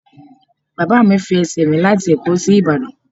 Bàbá mi fi ẹsẹ̀ rìn láti ẹ̀kọ́ sí Ìbàdàn.